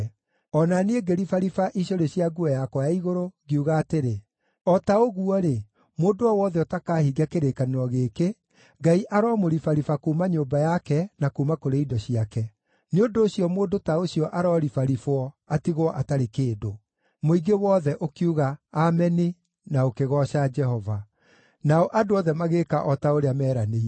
O na niĩ ngĩribariba icũrĩ cia nguo yakwa ya igũrũ, ngiuga atĩrĩ, “O ta ũguo-rĩ, mũndũ o wothe ũtakahingia kĩrĩkanĩro gĩkĩ, Ngai aromũribariba kuuma nyũmba yake na kuuma kũrĩ indo ciake. Nĩ ũndũ ũcio mũndũ ta ũcio aroribaribwo, atigwo atarĩ kĩndũ!” Mũingĩ wothe ũkiuga, “Ameni,” na ũkĩgooca Jehova. Nao andũ othe magĩĩka o ta ũrĩa meeranĩire.